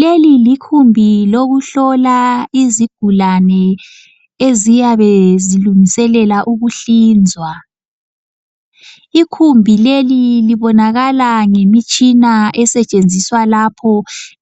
Leli likhumbi lokuhlola izigulane eziyabe zilungiselela ukuhlinzwa ikhumbi leli libonakala ngemitshina esetshenziswa lapho